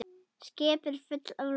Skip eru full af lofti